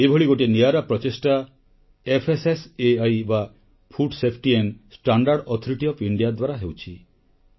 ଏଭଳି ଗୋଟିଏ ନିଆରା ପ୍ରଚେଷ୍ଟା ଏଫଏସଏସଇ ବା ଭାରତୀୟ ଖାଦ୍ୟ ସୁରକ୍ଷା ଓ ମାନକ ପ୍ରାଧୀକରଣ ଦ୍ୱାରା ହେଉଛି